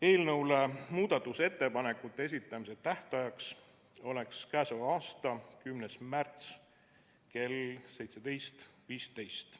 Eelnõu kohta muudatusettepanekute esitamise tähtajaks oleks k.a 10. märts kell 17.15.